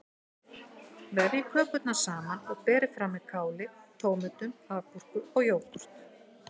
Vefjið kökurnar saman og berið fram með káli, tómötum, agúrku og jógúrt.